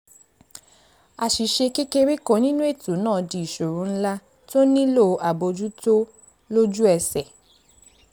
àṣìṣe kékeré kan nínú ètò náà di ìṣòro ńlá tó nílò àbójútó lójú ẹsẹ̀